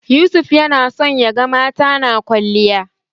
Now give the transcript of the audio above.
Yusuf yana son ya ga mata na kwalliya.